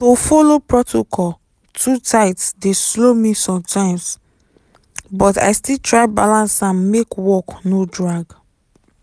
to follow protocol too tight dey slow me sometimes but i still try balance am make work no drag.